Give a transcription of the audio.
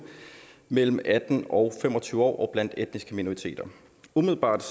mellem atten og fem og tyve år og blandt etniske minoriteter umiddelbart